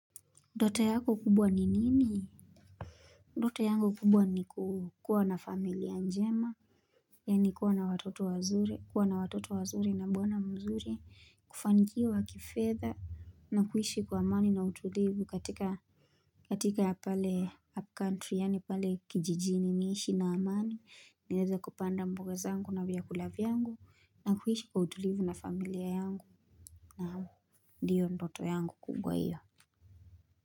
Ndota yako kubwa ni nini ndota yangu kubwa ni kuwa na familia njema Yani kuwa na watoto wazuri kuwa na watoto wazuri na mbwana mzuri kufangia wa kifetha na kuishi kwa amani na utulivu katika katika ya pale upcountry yani pale kijijini niishi na amani niweza kupanda mboga zangu na vyakula vyangu na kuishi kwa utulivu na familia yangu na ndiyo ndoto yangu kubwa iyo.